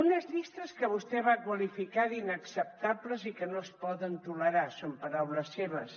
unes llistes que vostè va qualificar d’ inacceptables i que no es poden tolerar són paraules seves